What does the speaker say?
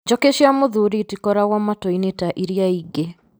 Njũkĩ cia mũthuri itikoragwo mwatũ-ini ta irĩa ingĩ